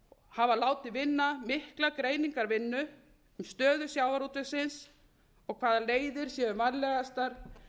hafa látið vinna mikla greiningarvinnu um stöðu sjávarútvegsins og hvaða leiðir séu vænlegastar